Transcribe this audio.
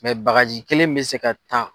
bagaji kelen bɛ se ka taa.